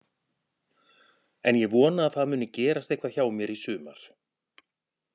En ég vona að það muni eitthvað gerast hjá mér í sumar.